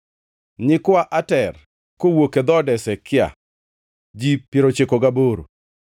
nyikwa Ater (kowuok e dhood Hezekia), ji piero ochiko gaboro (98),